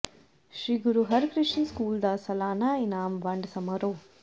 ਸ੍ਰੀ Guru Harkrishan school ਦਾ ਸਾਲਾਨਾ ਇਨਾਮ ਵੰਡ ਸਮਾਰੋਹ